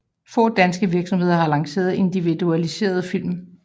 Få danske virksomheder har lanceret individualiserede film